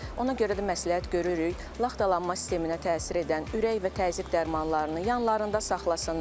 Ona görə də məsləhət görürük, laxtalanma sisteminə təsir edən ürək və təzyiq dərmanlarını yanlarında saxlasınlar.